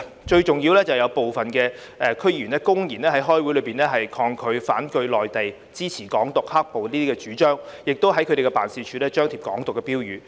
最重要是有部分區議員公然在開會時發表反對內地、支持"港獨"、"黑暴"的主張，亦在他們的辦事處張貼"港獨"標語。